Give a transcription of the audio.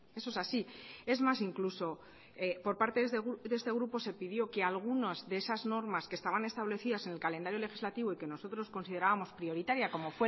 eso es así es más incluso por parte de este grupo se pidió que algunas de esas normas que estaban establecidas en el calendario legislativo y que nosotros consideramos prioritaria como